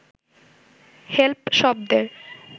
hemp শব্দের